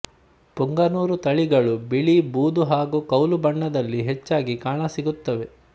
ಪುಂಗನೂರು ತಳಿಗಳು ಬಿಳಿ ಬೂದು ಹಾಗು ಕೌಲು ಬಣ್ಣದಲ್ಲಿ ಹೆಚ್ಚಾಗಿ ಕಾಣಸಿಗುತ್ತವೆ